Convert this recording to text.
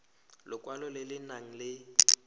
lekwalo le le nang le